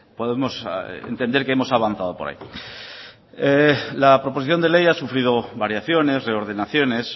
podemos entender que hemos avanzado por ahí la proposición de ley ha sufrido variaciones reordenaciones